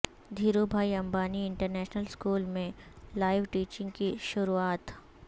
Dhiru bhai Ambani international school میں live teaching کی شروعات